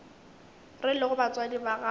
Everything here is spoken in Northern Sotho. re lego batswadi ba gago